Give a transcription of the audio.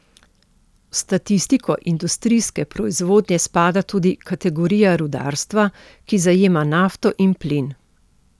V statistiko industrijske proizvodnje spada tudi kategorija rudarstva, ki zajema nafto in plin.